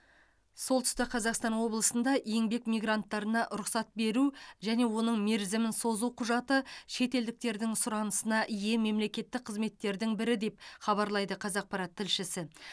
солтүстік қазақстан облысында еңбек мигранттарына рұқсат беру және оның мерзімін созу құжаты шетелдіктердің сұранысына ие мемлекеттік қызметтердің бірі деп хабарлайды қазақпарат тілшісі